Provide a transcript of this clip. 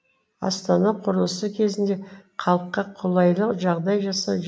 астана құрылысы кезінде халыққа қолайлы жағдай жасау